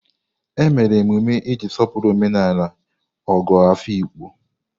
E mere emume iji sọpụrụ omenala Ogo Afikpo.